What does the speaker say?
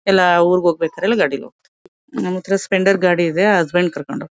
ಎಲ್ಲಾ ಊರಿಗೆ ಹೋಗ್ಬೇಕಾದ್ರೆಲ್ಲ ಗಾಡೀಲಿ ಹೋಗ್ತೀವಿ ನಮ್ಮತ್ರ ಸ್ಪ್ಲೆಂಡರ್ ಗಾಡಿ ಇದೆ ಹಸ್ಬ್ಯಾಂಡ್ ಕರ್ಕೊಂಡು ಹೋಗ್ತಾರೆ.